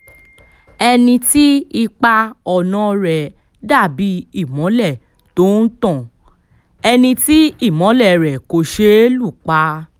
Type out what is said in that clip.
ẹni tí ipa ọ̀nà rẹ̀ dà bí ìmọ́lẹ̀ tó ń tan ẹni tí ìmọ́lẹ̀ rẹ̀ kò ṣe é lù pa